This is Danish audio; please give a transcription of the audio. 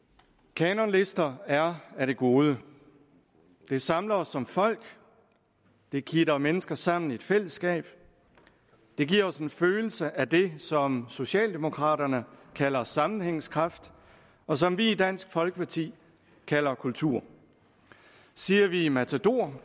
kanonlister er af det gode det samler os som folk det kitter mennesker sammen i et fællesskab det giver os en følelse af det som socialdemokraterne kalder sammenhængskraft og som vi i dansk folkeparti kalder kultur siger vi matador